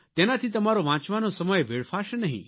તેનાથી તમારો વાંચવાનો સમય વેડફાશે નહીં